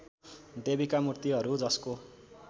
देवीका मुर्तिहरू जसको